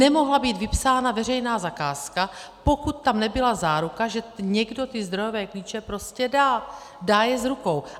Nemohla být vypsána veřejná zakázka, pokud tam nebyla záruka, že někdo ty zdrojové klíče prostě dá, dá je z rukou.